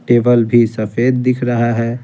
Table भी सफेद दिख रहा है।